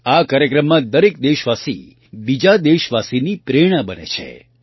આ કાર્યક્રમમાં દરેક દેશવાસી બીજા દેશવાસીની પ્રેરણા બને છે